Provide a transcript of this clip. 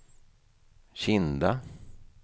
Kinda